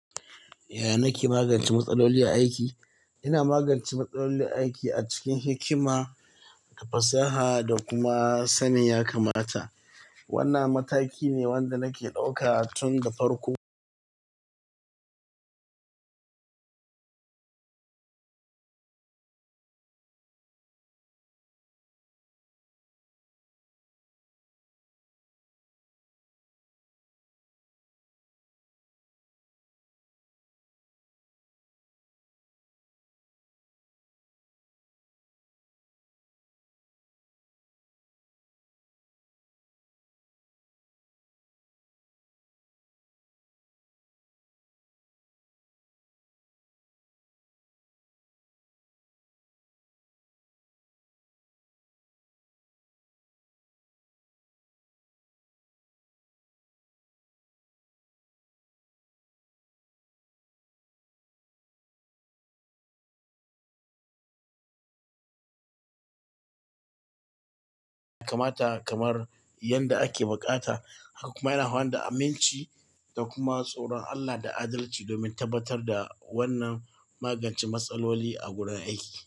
Ya na magance matsaloli aiki? Ina magance matsaloli aiki cikin hikima, fasaha da kuma sanin ya kamata. Wannan mataki ne wanda nake ɗauka tun da farko. Ya kamata kamar yadda ake buƙata. Hak kuma yana hawa da aminci da kuma tsoron Allah da adalci domin tabbatar da wannan magance matsaloli a gurin aiki.